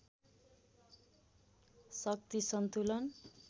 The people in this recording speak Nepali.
शक्ति सन्तुलन